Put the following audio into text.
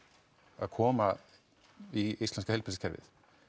að koma í íslenska heilbrigðiskerfi